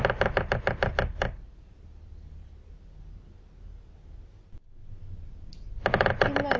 okay fine அப்படி கூட பண்ணிக்கலாம். என்னோட mail ID வந்து உங்களுக்கு அப்டியே இப்போ நா சொல்லட்டுங்களா இல்ல message ல forward பண்ணட்டுமா?